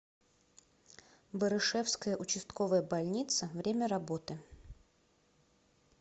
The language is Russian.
барышевская участковая больница время работы